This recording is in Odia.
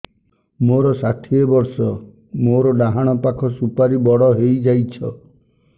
ମୋର ଷାଠିଏ ବର୍ଷ ମୋର ଡାହାଣ ପାଖ ସୁପାରୀ ବଡ ହୈ ଯାଇଛ